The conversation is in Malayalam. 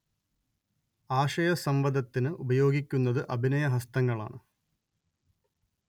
ആശയസം‌വദനത്തിന് ഉപയോഗിക്കുന്നത് അഭിനയഹസ്തങ്ങളാണ്